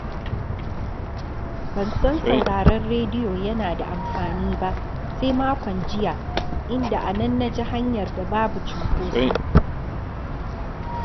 Ban san sauraron rediyo yana da amfani ba, sai makon jiya, inda a nan na ji hanyar da babu cunkoso